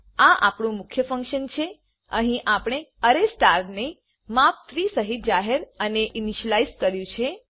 આ આપણું મુખ્ય ફંક્શન છે અહી આપણે અરે સ્ટારને માપ 3 સહિત જાહેર અને ઇનીશલાઈઝ કર્યું છે